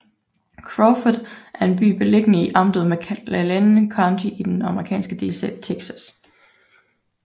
Crawford er en by beliggende i amtet McLennan County i den amerikanske delstat Texas